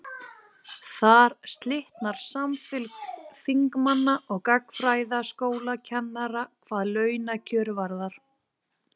Þar slitnar samfylgd þingmanna og gagnfræðaskólakennara hvað launakjör varðar.